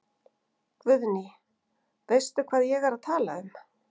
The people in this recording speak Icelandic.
Guðný: Veistu hvað ég er að tala um?